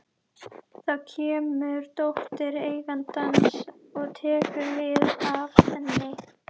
Þá kemur dóttir eigandans og tekur við af henni.